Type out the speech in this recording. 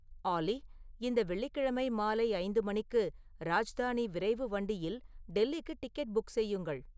ஆல்லி இந்த வெள்ளிக்கிழமை மாலை ஐந்து மணிக்கு ராஜ்தானி விரைவு வண்டியில் டெல்லிக்கு டிக்கெட் புக் செய்யுங்கள்